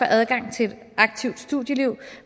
adgang til et aktivt studieliv